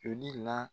Joli la